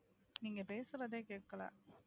நீங்க பேசுறதே கேட்கல